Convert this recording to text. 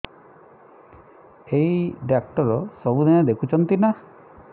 ଏଇ ଡ଼ାକ୍ତର ସବୁଦିନେ ଦେଖୁଛନ୍ତି ନା